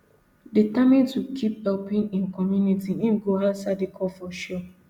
determined to keep helping im community im go answer di call for sure